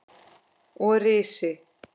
Og risi!